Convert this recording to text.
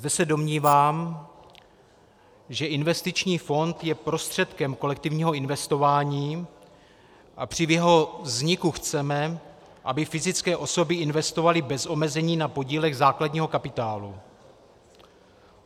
Zde se domnívám, že investiční fond je prostředkem kolektivního investování a při jeho vzniku chceme, aby fyzické osoby investovaly bez omezení na podílech základního kapitálu.